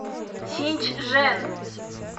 синьчжэн